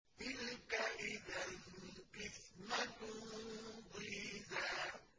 تِلْكَ إِذًا قِسْمَةٌ ضِيزَىٰ